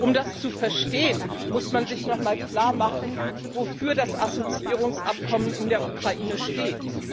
Um das zu verstehen, muss man sich noch einmal klar machen, wofür das Assoziierungsabkommen in der Ukraine steht.